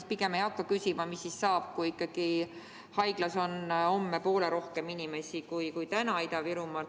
Ma pigem ei hakka küsima, mis siis saab, kui ikkagi Ida-Virumaal on homme haiglas poole rohkem inimesi, kui täna on.